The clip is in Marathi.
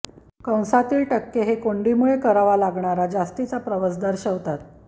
कंसातील टक्के हे कोंडीमुळे कराव्या लागणार्या जास्तीचा प्रवास दर्शवतात